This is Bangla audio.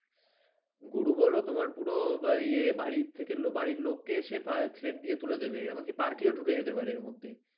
গরু বল তোমার পুরো এই বাড়ি থেকে বারির লোককে এসে threat দিয়ে তুলে দেবে এমনকি party ও ঢুকে যেতে পারে এর মধ্যে।